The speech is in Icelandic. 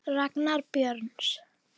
Ragnar Björns.